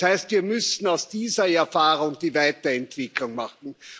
Das heißt, wir müssen aus dieser Erfahrung die Weiterentwicklung machen.